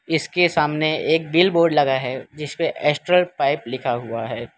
इसके सामने एक बिल बोर्ड लगा है जिस पे एस्ट्रल पाइप लिखा हुआ है।